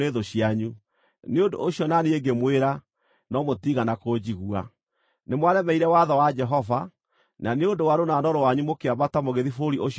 Nĩ ũndũ ũcio na niĩ ngĩmwĩra, no mũtiigana kũnjigua. Nĩmwaremeire watho wa Jehova, na nĩ ũndũ wa rũnano rwanyu mũkĩambata mũgĩthiĩ bũrũri ũcio ũrĩ irĩma.